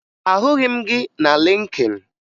Ahụghị m gị na Lịnkịn